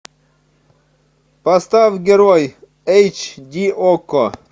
поставь герой эйч ди окко